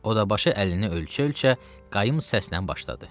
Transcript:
O da başı əlini ölçə-ölçə qayım səslə başladı.